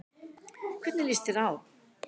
Hvernig líst þér á?